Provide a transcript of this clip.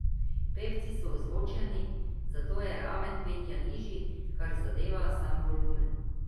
Pevci so ozvočeni, zato je raven petja nižji, kar zadeva sam volumen.